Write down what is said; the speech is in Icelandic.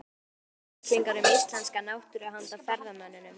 Þetta eru bæklingar um íslenska náttúru handa ferðamönnum.